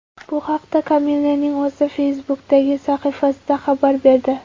Bu haqda Kamillaning o‘zi Facebook’dagi sahifasida xabar berdi .